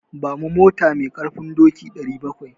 Ba mu mota mai ƙarfin doki 700.